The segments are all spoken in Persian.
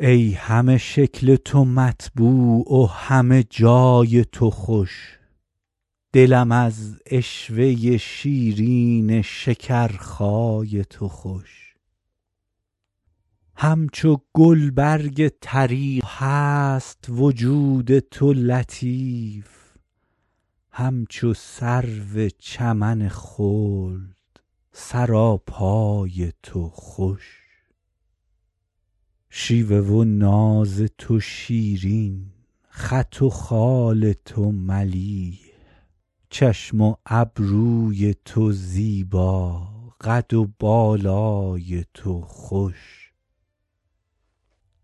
ای همه شکل تو مطبوع و همه جای تو خوش دلم از عشوه شیرین شکرخای تو خوش همچو گلبرگ طری هست وجود تو لطیف همچو سرو چمن خلد سراپای تو خوش شیوه و ناز تو شیرین خط و خال تو ملیح چشم و ابروی تو زیبا قد و بالای تو خوش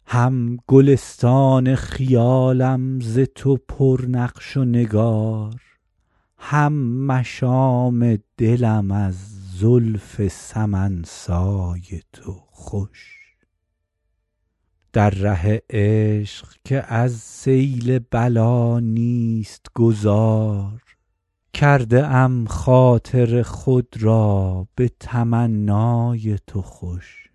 هم گلستان خیالم ز تو پر نقش و نگار هم مشام دلم از زلف سمن سای تو خوش در ره عشق که از سیل بلا نیست گذار کرده ام خاطر خود را به تمنای تو خوش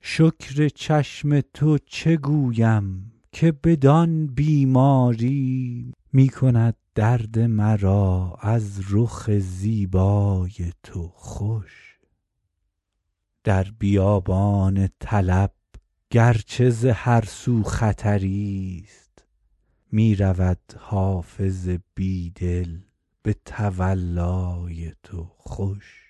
شکر چشم تو چه گویم که بدان بیماری می کند درد مرا از رخ زیبای تو خوش در بیابان طلب گر چه ز هر سو خطری ست می رود حافظ بی دل به تولای تو خوش